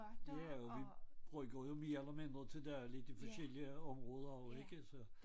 Ja og vi bruger jo mere eller mindre til dagligt de forskellige områder og ikke så